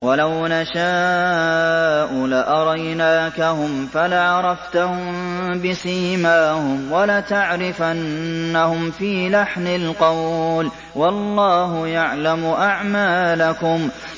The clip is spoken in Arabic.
وَلَوْ نَشَاءُ لَأَرَيْنَاكَهُمْ فَلَعَرَفْتَهُم بِسِيمَاهُمْ ۚ وَلَتَعْرِفَنَّهُمْ فِي لَحْنِ الْقَوْلِ ۚ وَاللَّهُ يَعْلَمُ أَعْمَالَكُمْ